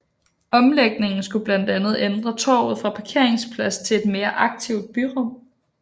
Omlægningen skulle blandt andet ændre torvet fra parkeringsplads til et mere aktivt byrum